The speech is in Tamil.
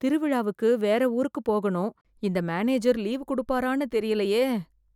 திருவிழாவுக்கு வேற ஊருக்கு போகனும் இந்த மேனேஜர் லீவ் கொடுப்பாரான்னு தெரியலையே